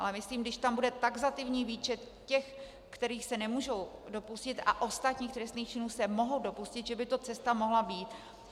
Ale myslím, když tam bude taxativní výčet těch, kterých se nemůžou dopustit, a ostatních trestných činů se mohou dopustit, že by to cesta mohla být.